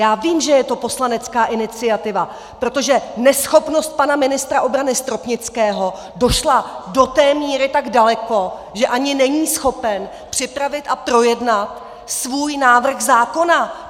Já vím, že je to poslanecká iniciativa, protože neschopnost pana ministra obrany Stropnického došla do té míry tak daleko, že ani není schopen připravit a projednat svůj návrh zákona.